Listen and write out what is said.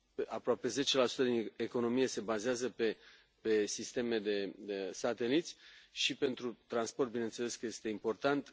Aproape 10 din economie se bazează pe sisteme de sateliți și pentru transport bineînțeles că este important.